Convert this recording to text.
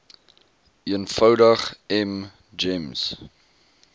eenvoudig m gems